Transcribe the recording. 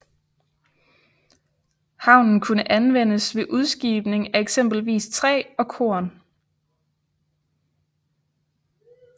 Havnen kunne anvendes ved udskibning af eksempelvis træ og korn